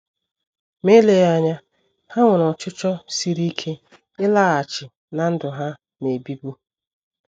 Ma eleghị anya, ha nwere ọchịchọ siri ike ịlaghachi ná ndụ ha “ na - ebibu. ”